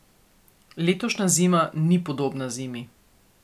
Letošnja zima ni podobna zimi.